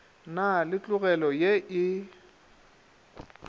na le tlogelo ye e